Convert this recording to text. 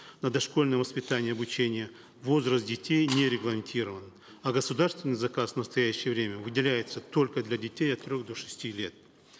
на дошкольное воспитание и обучение возраст детей не регламентирован а государственный заказ в настоящее время выделяется только для детей от трех до шести лет